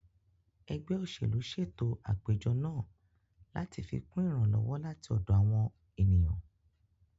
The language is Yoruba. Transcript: Ẹgbẹ́ òṣèlú ṣètò àpéjọ náà láti fikún ìrànlọ́wọ́ láti ọ̀dọ̀ àwọn ènìyàn